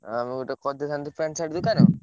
ଆଉ ଗୋଟେ କରିଦେଇଥାନ୍ତେ pant, shirt ଦୋକାନ।